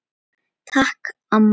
Takk, amma.